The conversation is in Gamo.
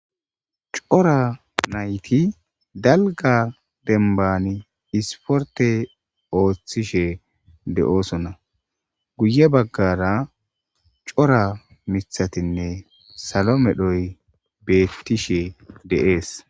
Corra naytti dalgga dembanni sporththe othishe deossona guyye bagarra corra mithathinne sallo medhoyi bethishe Dees.